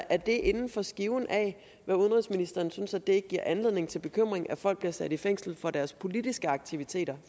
er det inden for skiven af hvad udenrigsministeren synes ikke giver anledning til bekymring at folk bliver sat i fængsel for deres politiske aktiviteter